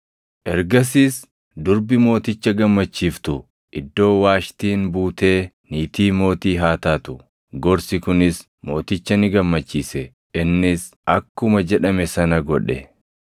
Ergasiis durbi mooticha gammachiiftu iddoo Waashtiin buutee niitii mootii haa taatu.” Gorsi kunis mooticha ni gammachiise; innis akkuma jedhame sana godhe.